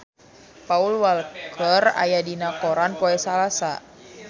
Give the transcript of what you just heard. Paul Walker aya dina koran poe Salasa